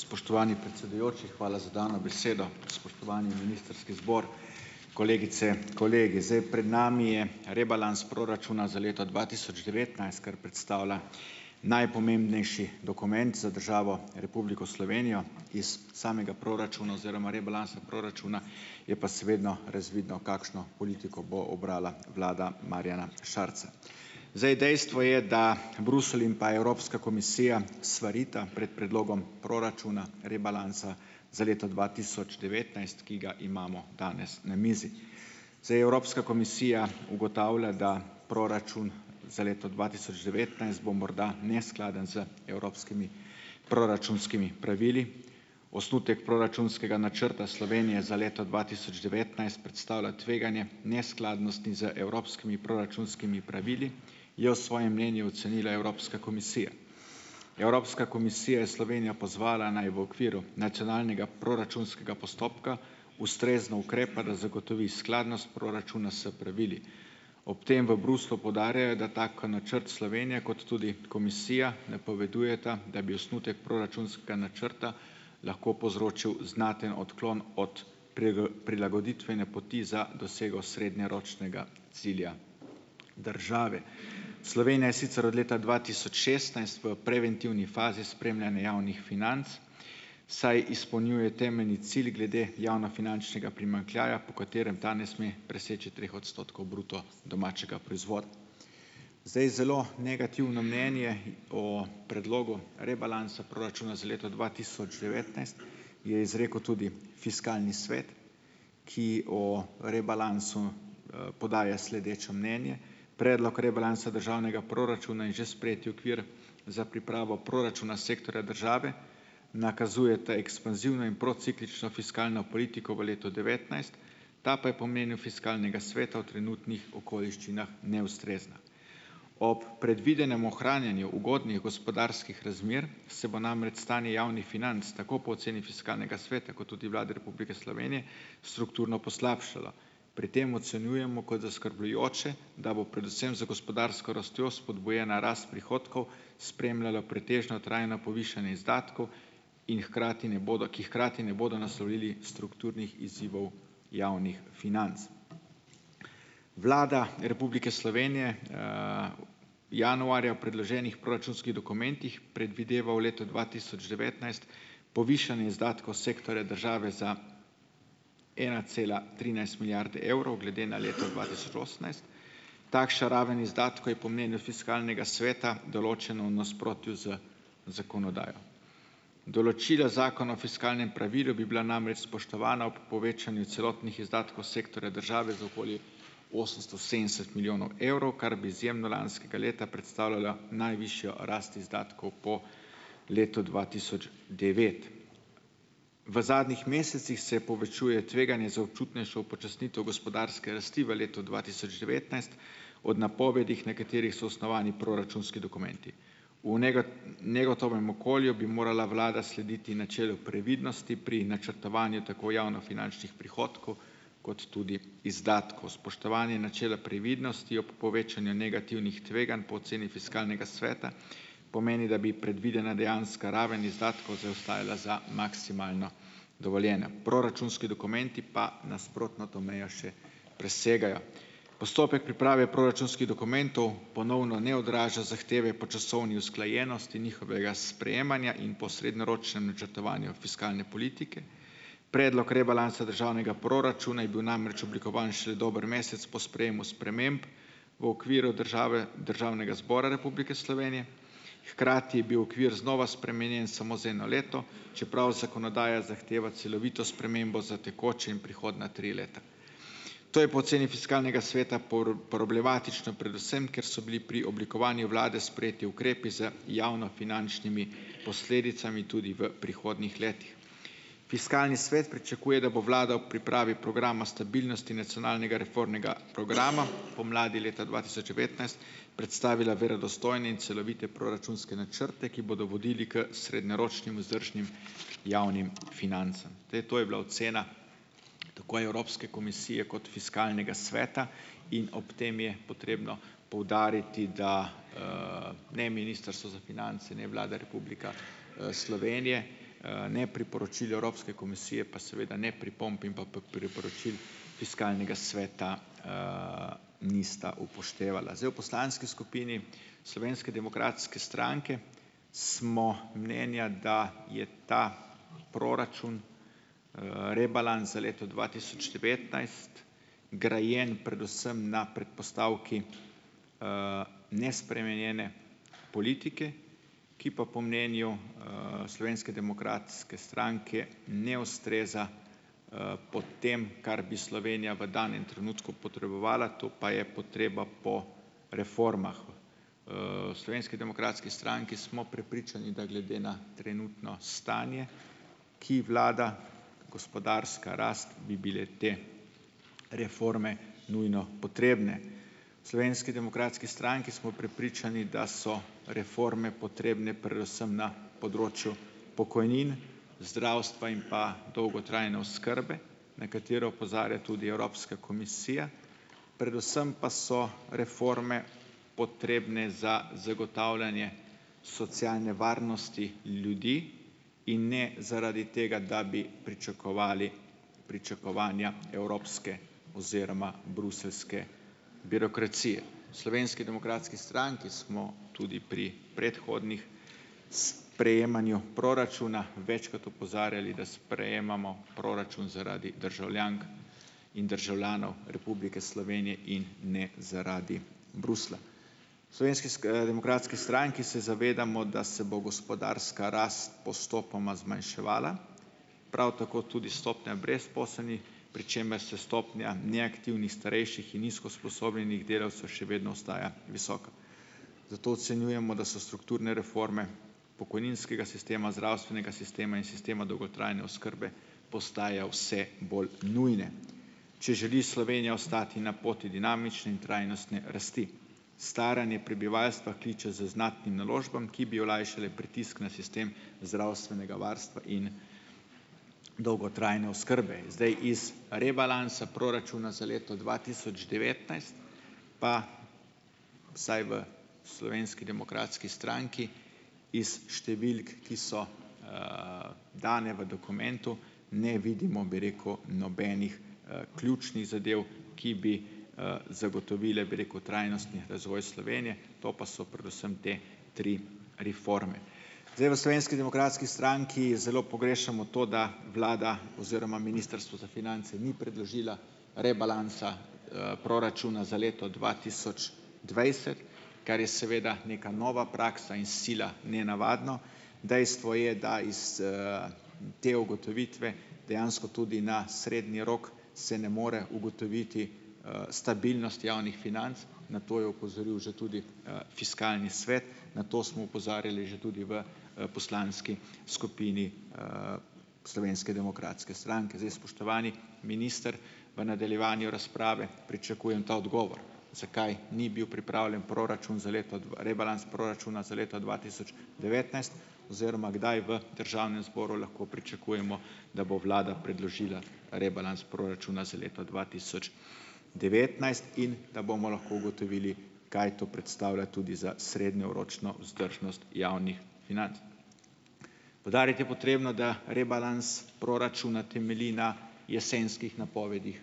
Spoštovani predsedujoči, hvala za dano besedo, spoštovani ministrski zbor, kolegice, kolegi, zdaj pred nami je rebalans proračuna za leto dva tisoč devetnajst, kar predstavlja najpomembnejši dokument za državo Republiko Slovenijo. Iz samega proračuna oziroma rebalansa proračuna je pa razvidno, kakšno politiko bo ubrala vlada Marjana Šarca, zdaj dejstvo je, da Bruselj in pa Evropska komisija svarita pred predlogom proračuna, rebalansa za leto dva tisoč devetnajst, ki ga imamo danes na mizi, zdaj Evropska komisija ugotavlja, da proračun za leto dva tisoč devetnajst bo morda neskladen z evropskimi proračunskimi pravili, osnutek proračunskega načrta Slovenije za leto dva tisoč devetnajst predstavlja tveganje neskladnosti z evropskimi proračunskimi pravili je v svojem mnenju ocenila Evropska komisija. Evropska komisija je Slovenijo pozvala, naj v okviru nacionalnega proračunskega postopka ustrezno ukrepa, da zagotovi skladnost proračuna s pravili, ob tem v Bruslju poudarjajo, da tako ko načrt Slovenije kot tudi Komisija napovedujeta, da bi osnutek proračunskega načrta lahko povzročil znaten odklon od prilagoditvene poti za dosego srednjeročnega cilja države. Slovenija je sicer od leta dva tisoč šestnajst v preventivni fazi spremljanja javnih financ, saj izpolnjuje temeljni cilj glede javnofinančnega primanjkljaja, po katerem ta ne sme treh odstotkov bruto domačega proizvoda. Zdaj zelo negativno mnenje o predlogu rebalansa proračuna za leto dva tisoč devetnajst je izrekel tudi fiskalni svet, ki o rebalansu podaja sledeče mnenje. Predlog rebalansa državnega proračuna je že sprejeti okvir za pripravo proračuna sektorja države, nakazujeta ekspanzivno in prociklično fiskalno politiko v letu devetnajst, ta pa je v pomenu fiskalnega sveta v trenutnih okoliščinah neustrezna. Ob predvidenem ohranjanju ugodnih gospodarskih razmer se bo namreč stanje javnih financ tako po oceni fiskalnega sveta kot tudi Vlade Republike Slovenije strukturno poslabšalo. Pri tem ocenjujemo kot zaskrbljujoče, da bo predvsem za gospodarsko rastjo spodbujena rast prihodkov, spremljalo pretežno trajno povišanje izdatkov in hkrati ne bodo, ki hkrati ne bodo naslovili strukturnih izzivov javnih financ. Vlada Republike Slovenije januarja predloženih proračunskih dokumentih predvideva v letu dva tisoč devetnajst povišanje izdatkov sektorja države za ena cela trinajst milijarde evrov glede na leto dva tisoč osemnajst. Takšna raven izdatkov je v pomenu fiskalnega sveta določeno v nasprotju z zakonodajo, določila zakona o fiskalnem pravilu bi bila namreč spoštovana ob povečanju celotnih izdatkov sektorja države za okoli osemsto sedemdeset milijonov evrov, kar bi predstavljalo najvišjo rast izdatkov po letu dva tisoč devet. V zadnjih mesecih se povečuje tveganje za občutnejšo upočasnitev gospodarske rasti v letu dva tisoč devetnajst od napovedih, na katerih so osnovani proračunski dokumenti, negotovem okolju bi morala vlada slediti načelu previdnosti pri načrtovanju tako javnofinančnih prihodkov kot tudi izdatkov, spoštovanje načela previdnosti ob povečanju negativnih tveganj po oceni fiskalnega sveta pomeni, da bi predvidena dejanska raven izdatkov zaostajala za maksimalno dovoljeno. Proračunski dokumenti pa nasprotno to mejo še presegajo. Postopek priprave proračunskih dokumentov ponovno ne odraža zahteve po časovni usklajenosti njihovega sprejemanja in po srednjeročnem načrtovanju fiskalne politike. Predlog rebalansa državnega proračuna je bil namreč oblikovan še dober mesec po sprejemu sprememb v okviru države Državnega zbora Republike Slovenije, hkrati je bil okvir znova spremenjen samo za eno leto, čeprav zakonodaja zahteva celovito spremembo za tekoče in prihodnja tri leta. To je po oceni fiskalnega sveta problematično, predvsem ker so bili pri oblikovanju vlade sprejeti ukrepi z javnofinančnimi posledicami tudi v prihodnjih letih. Fiskalni svet pričakuje, da bo vlada v pripravi programa stabilnosti nacionalnega reformnega programa pomladi leta dva tisoč devetnajst predstavila verodostojne in celovite proračunske načrte, ki bodo vodili k srednjeročnim vzdržnim javnim financam. Zdaj to je bila ocena tako Evropske komisije kot fiskalnega sveta in ob tem je potrebno poudariti, da ne ministrstvo za finance, ne Vlada Republika Slovenije ne priporočil Evropske komisije pa seveda ne pripomb in pa priporočil fiskalnega sveta nista upoštevala, zdaj v poslanski skupini Slovenske demokratske stranke smo mnenja, da je ta proračun rebalans za leto dva tisoč devetnajst grajen predvsem na predpostavki nespremenjene politike, ki pa po mnenju Slovenske demokratske stranke ne ustreza, potem, kar bi Slovenija v danem trenutku potrebovala, to pa je potreba po reformah. V Slovenski demokratski stranki smo prepričani, da glede na trenutno stanje, ki vlada gospodarska rast, bi bile te reforme nujno potrebne. Slovenski demokratski stranki smo prepričani, da so reforme potrebne predvsem na področju pokojnin, zdravstva in pa dolgotrajne oskrbe, na katero opozarja tudi Evropska komisija, predvsem pa so reforme potrebne za zagotavljanje socialne varnosti ljudi in ne zaradi tega, da bi pričakovali pričakovanja evropske oziroma bruseljske birokracije. V Slovenski demokratski stranki smo tudi pri predhodnih s prejemanju proračuna večkrat opozarjali, da sprejemamo proračun zaradi državljank in državljanov Republike Slovenije in ne zaradi Bruslja, Slovenski demokratski stranki se zavedamo, da se bo gospodarska rast postopoma zmanjševala, prav tako tudi stopnja brezposelnih, pri čemer se stopnja neaktivnih starejših in nizko usposobljenih delavcev še vedno ostaja visoka, zato ocenjujemo, da so strukturne reforme pokojninskega sistema, zdravstvenega sistema in sistema dolgotrajne oskrbe postaja vse bolj nujne, če želi Slovenija ostati na poti dinamične in trajnostne rasti. Staranje prebivalstva kliče z znatnim naložbam, ki bi olajšale pritisk na sistem zdravstvenega varstva in dolgotrajne oskrbe, zdaj iz rebalansa proračuna za leto dva tisoč devetnajst, pa, saj v Slovenski demokratski stranki iz številk, ki so dane v dokumentu, ne vidimo, bi rekel, nobenih ključnih zadev, ki bi zagotovile, bi rekel, trajnostni razvoj Slovenije, to pa so predvsem te tri reforme, zdaj v Slovenski demokratski stranki zelo pogrešamo to, da vlada oziroma ministrstvo za finance ni predložila rebalansa proračuna za leto dva tisoč dvajset, kar je seveda neka nova praksa, in sila nenavadno dejstvo je, da iz te ugotovitve dejansko tudi na srednji rok se ne more ugotoviti stabilnost javnih financ, na to je opozoril že tudi fiskalni svet, na to smo opozarjali že tudi v poslanski skupini Slovenske demokratske stranke, zdaj, spoštovani minister, v nadaljevanju razprave pričakujem ta odgovor, zakaj ni bil pripravljen proračun za leto rebalans proračuna za leto dva tisoč devetnajst oziroma kdaj v državnem zboru lahko pričakujemo, da bo vlada predložila rebalans proračuna za leto dva tisoč devetnajst in da bomo lahko ugotovili, kaj to predstavlja tudi za srednjeročno vzdržnost javnih financ. Poudarjati je potrebno, da rebalans proračuna temelji na jesenskih napovedih,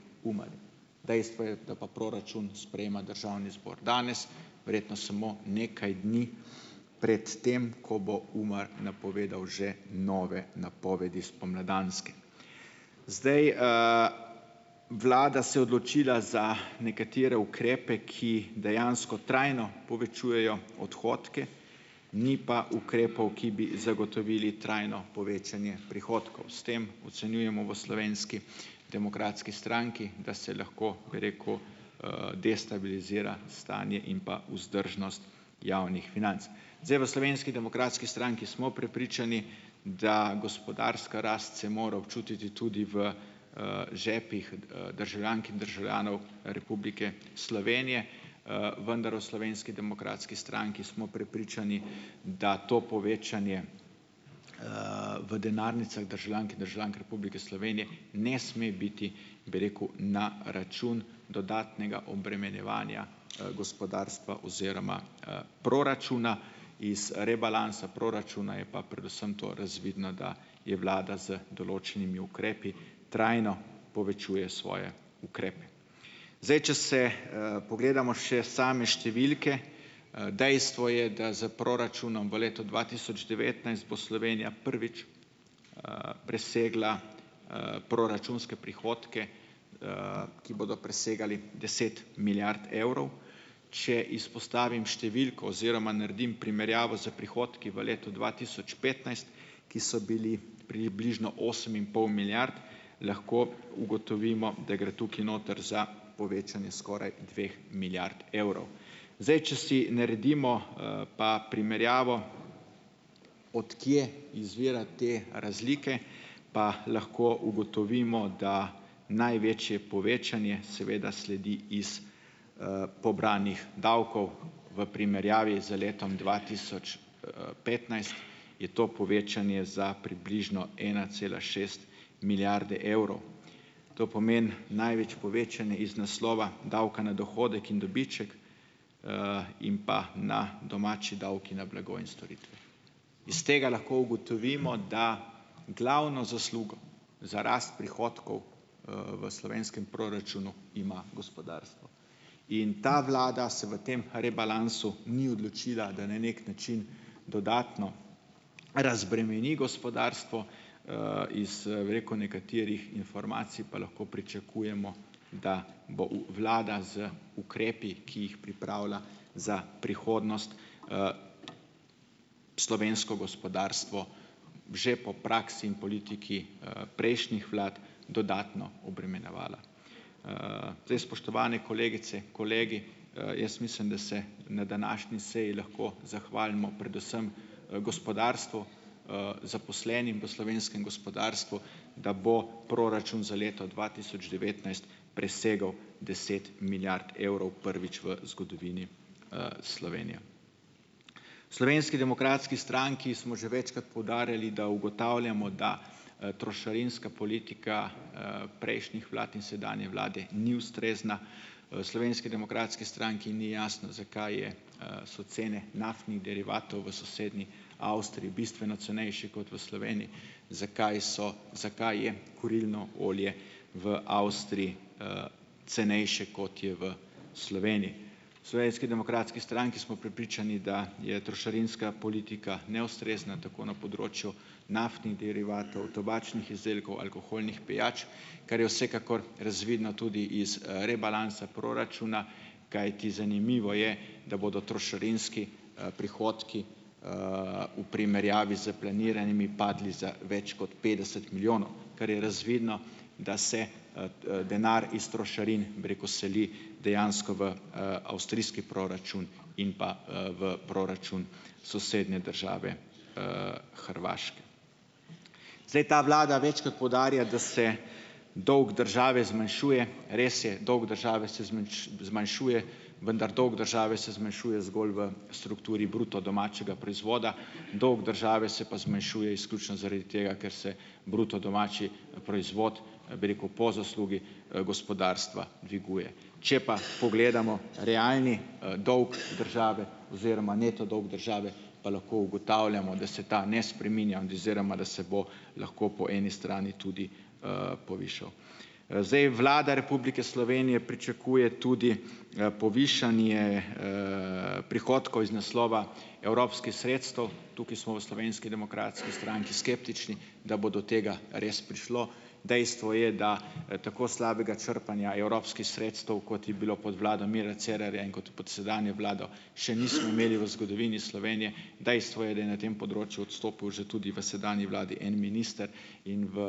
dejstvo je, da pa proračun sprejema državni zbor danes verjetno samo nekaj dni pred tem, ko bo UMAR napovedal že nove napovedi spomladanske, zdaj, vlada se je odločila za nekatere ukrepe, ki dejansko trajno povečujejo odhodke, ni pa ukrepov, ki bi zagotovili trajno povečanje prihodkov, s tem ocenjujemo v Slovenski demokratski stranki, da se lahko, bi rekel, destabilizira stanje in pa vzdržnost javnih financ. Zdaj, v Slovenski demokratski stranki smo prepričani, da gospodarska rast se mora občutiti tudi v žepih državljank in državljanov Republike Slovenije, vendar v Slovenski demokratski stranki smo prepričani, da to povečanje v denarnicah državljank in državljank Republike Slovenije ne sme biti, bi rekel, na račun dodatnega obremenjevanja gospodarstva oziroma proračuna. Iz rebalansa proračuna je pa predvsem to razvidno, da je vlada z določenimi ukrepi trajno povečuje svoje ukrepe, zdaj, če se pogledamo še same številke, dejstvo je, da s proračunom v letu dva tisoč devetnajst bo Slovenija prvič presegla proračunske prihodke, ki bodo presegali deset milijard evrov, če izpostavim številko oziroma naredim primerjavo s prihodki v letu dva tisoč petnajst, ki so bili približno osem in pol milijard, lahko ugotovimo, da gre tukaj noter za povečanje skoraj dveh milijard evrov, zdaj, če si naredimo pa primerjavo, od kje izvira te razlike, pa lahko ugotovimo, da največje povečanje seveda sledi iz pobranih davkov, v primerjavi z letom dva tisoč petnajst je to povečanje za približno ena cela šest milijarde evrov, to pomeni največ povečanje iz naslova davka na dohodek in dobiček in pa na domači davki na blago in storitve. Iz tega lahko ugotovimo, da glavno zaslugo za rast prihodkov v slovenskem proračunu ima gospodarstvo in ta vlada se v tem rebalansu ni odločila, da na neki način dodatno razbremeni gospodarstvo, iz, bi rekel, nekaterih informacij pa lahko pričakujemo, da bo v vlada z ukrepi, ki jih pripravila za prihodnost, slovensko gospodarstvo že po praksi in politiki prejšnjih vlad dodatno obremenjevala, zdaj, spoštovane kolegice, kolegi, jaz mislim, da se na današnji seji lahko zahvalimo predvsem gospodarstvu, zaposlenim v slovenskem gospodarstvu, da bo proračun za leto dva tisoč devetnajst presegel deset milijard evrov prvič v zgodovini Slovenije. V Slovenski demokratski stranki smo že večkrat poudarjali, da ugotavljamo, da trošarinska politika prejšnjih vlad in sedanje vlade ni ustrezna, Slovenski demokratski stranki ni jasno, zakaj je so cene naftnih derivatov v sosednji Avstriji bistveno cenejše kot v Sloveniji, zakaj so, zakaj je kurilno olje v Avstriji cenejše, kot je v Sloveniji. Slovenski demokratski stranki smo prepričani, da je trošarinska politika neustrezna tako na področju naftnih derivatov, tobačnih izdelkov, alkoholnih pijač, kar je vsekakor razvidno tudi iz rebalansa proračuna, kajti zanimivo je, da bodo trošarinski prihodki v primerjavi s planiranimi padli za več kot petdeset milijonov, kar je razvidno, da se denar iz trošarin, bi rekel, seli dejansko v avstrijski proračun in pa v proračun sosednje države Hrvaške. Zdaj ta vlada večkrat poudarja, da se dolg države zmanjšuje. Res je, dolg države se zmanjšuje, vendar dolg države se zmanjšuje zgolj v strukturi bruto domačega proizvoda, dolg države se pa zmanjšuje izključno zaradi tega, ker se bruto domači proizvod, bi rekel, po zaslugi gospodarstva dviguje, če pa pogledamo realni dolg države oziroma neto dolg države, pa lahko ugotavljamo, da se ta ne spreminja oziroma da se bo lahko po eni strani tudi povišal. Zdaj Vlada Republike Slovenije pričakuje tudi povišanje prihodkov iz naslova evropskih sredstev tukaj smo v Slovenski demokratski stranki skeptični da bo do tega res prišlo, dejstvo je, da tako slabega črpanja evropskih sredstev, kot je bilo pod vlado Mira Cerarja in kot pod sedanjo vlado, še nismo imeli v zgodovini Slovenije, dejstvo je, da je na tem področju odstopil že tudi v sedanji vladi en minister, in v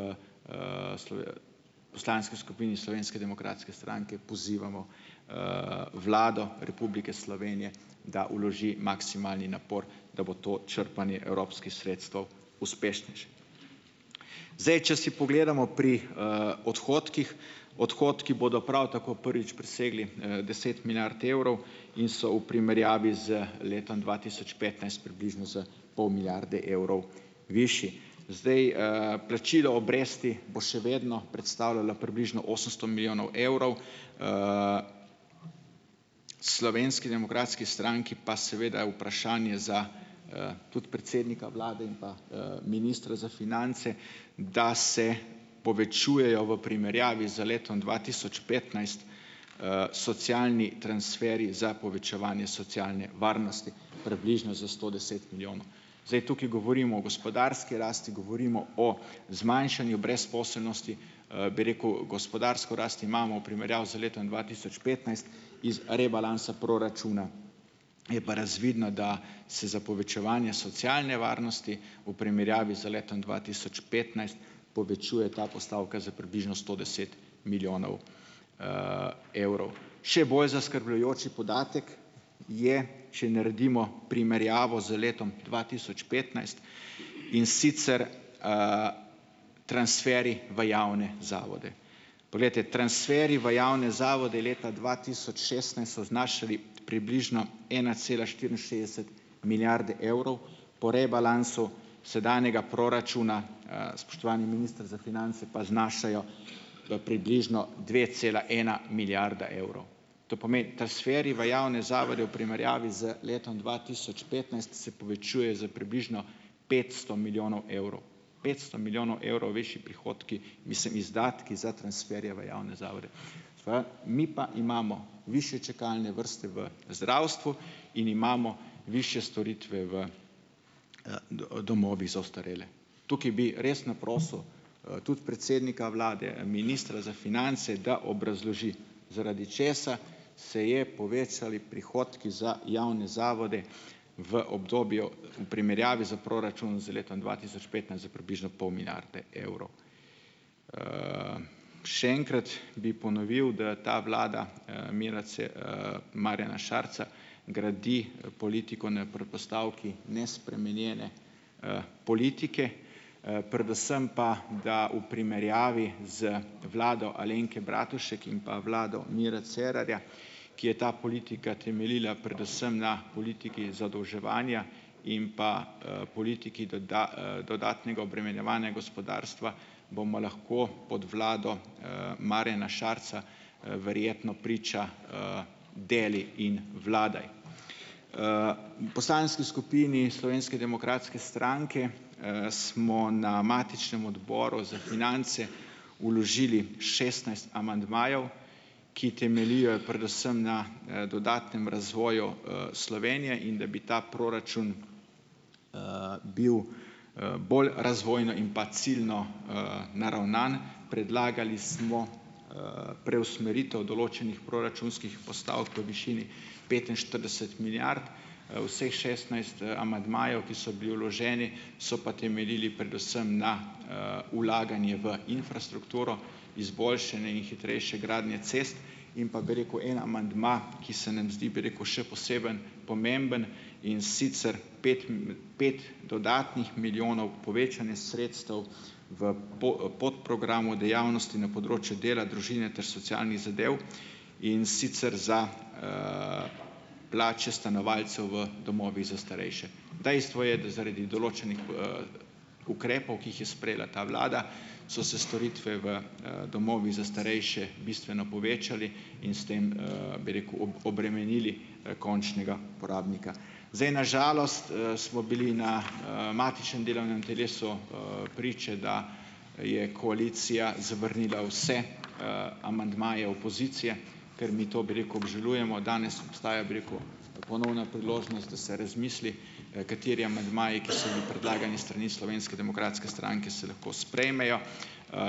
poslanski skupini Slovenske demokratske stranke pozivamo Vlado Republike Slovenije, da vloži maksimalni napor, da bo to črpanje evropskih sredstev uspešnejše. Zdaj, če si pogledamo pri odhodkih, odhodki bodo prav tako prvič presegli deset milijard evrov in so v primerjavi z letom dva tisoč petnajst približno za pol milijarde evrov višji, zdaj, plačilo obresti bo še vedno predstavljalo približno osemsto milijonov evrov. Slovenski demokratski stranki pa seveda je vprašanje za tudi predsednika vlade in pa ministra za finance, da se povečujejo v primerjavi z letom dva tisoč petnajst socialni transferi za povečevanje socialne varnosti približno za sto deset milijonov, zdaj tukaj govorim o gospodarski rasti, govorimo o zmanjšanju brezposelnosti, bi rekel, gospodarsko rast imamo v primerjavi z letom dva tisoč petnajst, iz rebalansa proračuna je pa razvidno, da se za povečevanja socialne varnosti v primerjavi z letom dva tisoč petnajst povečuje ta postavka za približno sto deset milijonov evrov, še bolj zaskrbljujoč je podatek je, če naredimo primerjavo z letom dva tisoč petnajst, in sicer transferi v javne zavode, poglejte, transferi v javne zavode je leta dva tisoč šestnajst so znašali približno ena cela štiriinšestdeset milijarde evrov po rebalansu sedanjega proračuna. Spoštovani minister za finance, pa znašajo v približno dve cela ena milijarda evrov, to pomeni transferi v javne zavode v primerjavi z letom dva tisoč petnajst se povečuje za približno petsto milijonov evrov, petsto milijonov evrov višji prihodki, mislim, izdatki za transferje v javne zavode, mi pa imamo višje čakalne vrste v zdravstvu in imamo višje storitve v domovih za ostarele, tukaj bi res naprosil tudi predsednika vlade, ministra za finance, da obrazloži, zaradi česa se je povečali prihodki za javne zavode v obdobju v primerjavi s proračun z letom dva tisoč petnajst za približno pol milijarde evrov. Še enkrat bi ponovil, da je ta vlada Mira Marjana Šarca gradi politiko na predpostavki nespremenjene politike, predvsem pa da v primerjavi z vlado Alenke Bratušek in pa vlado Mira Cerarja, ki je ta politika temeljila predvsem na politiki zadolževanja in pa politiki doda dodatnega obremenjevanja gospodarstva, bomo lahko pod vlado Marjana Šarca verjetno priča deli in vladaj. V poslanski skupini Slovenske demokratske stranke smo na matičnem odboru za finance vložili šestnajst amandmajev, ki temeljijo predvsem na dodatnem razvoju Slovenije, in da bi ta proračun bil bolj razvojno in pa ciljno naravnan, predlagali smo preusmeritev določenih proračunskih postavk v višini petinštirideset milijard, vseh šestnajst amandmajev, ki so bili vloženi, so pa temeljili predvsem na vlaganje v infrastrukturo izboljšanje in hitrejše gradnje cest in pa, bi rekel, en amandma, ki se nam zdi, bi rekel, še posebno pomemben, in sicer pet pet dodatnih milijonov povečanja sredstev v podprogram v dejavnosti na področju dela družine ter socialnih zadev, in sicer za plače stanovalcev v domovih za starejše, dejstvo je, da zaradi določenih ukrepov, ki jih je sprejela ta vlada, so se storitve v domovih za starejše bistveno povečali in s tem, bi rekel, obremenili končnega porabnika, zdaj na žalost smo bili na matični delovnem telesu priče, da je koalicija zavrnila vse amandmaje opozicije ter mi to, bi rekel, obžalujemo danes ostaja, bi rekel, ponovna priložnost, da se razmisli, kateri amandmaji, ki so bili predlagani s strani Slovenske demokratske stranke, se lahko sprejmejo,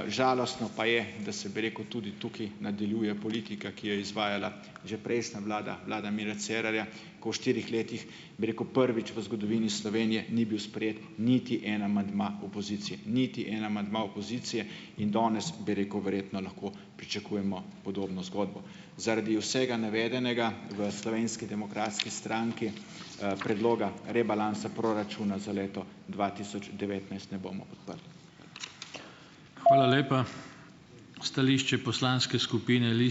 žalostno pa je, da se, bi rekel, tudi tukaj nadaljuje politika, ki jo je izvajala že prejšnja vlada, vlada Mira Cerarja, ko v štirih letih, bi rekel, prvič v zgodovini Slovenije ni bil sprejet niti en amandma opozicije, niti en amandma opozicije, in danes, bi rekel, verjetno lahko pričakujemo podobno zgodbo. Zaradi vsega navedenega v Slovenski demokratski stranki predloga rebalansa proračuna za leto dva tisoč devetnajst ne bomo podprli. Hvala lepa. Stališče poslanske skupine ...